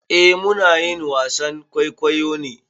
Eh muna yin wasan kwaikwayo ne.